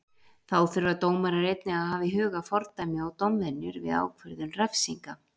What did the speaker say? Þá þurfa dómarar einnig að hafa í huga fordæmi og dómvenjur við ákvörðun refsinga.